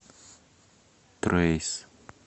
трэйс